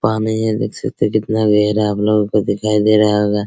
पानी है देख सकते हैं कितना गहरा आप लोगों को दिखाई दे रहा होगा।